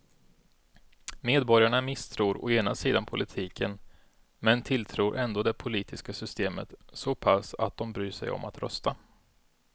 Medborgarna misstror å ena sidan politiken men tilltror ändå det politiska systemet så pass att de bryr sig om att rösta.